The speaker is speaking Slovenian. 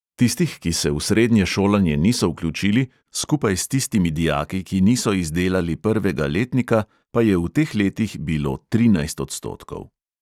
Tistih, ki se v srednje šolanje niso vključili, skupaj s tistimi dijaki, ki niso izdelali prvega letnika, pa je v teh letih bilo trinajst odstotkov.